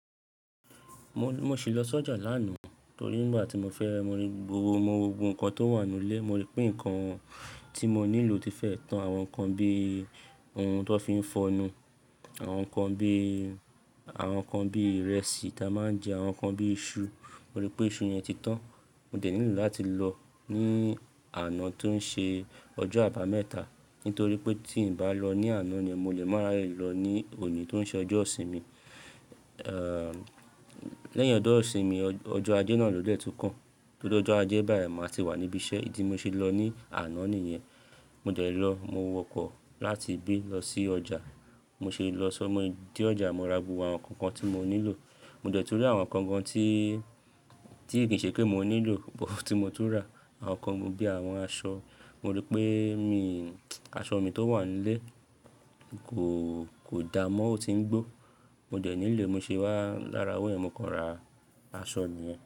Mo, mo ṣì lọ sọ́jà lánàá torí nígbà tí mo fẹ́ mo rí gbogbo ohun kan tó wà nínú ilé, mo rí pé nǹkan tí mo nílò ti fẹ́ tán. Àwọn nǹkan bí ohun tó fi ń fọnu, àwọn nǹkan bí, àwọn nǹkan bí ìrẹsì tí a máa ń jẹ, àwọn nǹkan bí iṣu. Mo rí pé iṣu yẹn ti tán. Mo dẹ̀ nílò láti lọ ní àná tó ń ṣe ọjọ́ àbámẹ́ta, nítorí pé tí n bá lọ ní àná ni mo lè máa rí ààyè lọ ní òní tó ń ṣe ọjọ́ ìsinmi, ẹ́ lẹ́yìn ọjọ́ ìsinmi, ọjọ́ Ajé náà ló gbéẹ̀ tó kàn. Ló jọ Ajé báyìí, màá ti wà níbi iṣẹ́. Ìdí mo ṣe lọ ní àná nìyẹn. Mo dẹ̀ lọ, mo wọkọ̀ láti ibí lọ sí ọjà. Mo ṣe lọ sọ́, mo dé ọjà, mo ra gbogbo àwọn nǹkan kan tí mo nílò. Mo dẹ̀ ti rí àwọn nǹkan kan tí, tí kìí ṣe pé mò nílò bọ̀ tí mo tún rà. Àwọn nǹkan bíi àwọn aṣọ. Mo rí pé mi, aṣọ mi tó wà nílé kò, kò da mọ́ ó ti ń gbó. Mo dẹ̀ nílé, mo ṣe wá lára owó mi, mo kàn ra aṣọ mi yẹn.